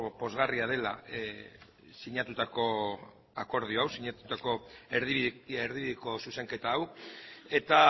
pozgarria dela sinatutako akordio hau sinatutako erdibideko zuzenketa hau eta